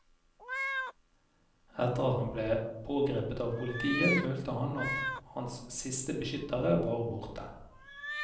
Etter at han ble pågrepet av politiet følte han at hans siste beskyttere var borte.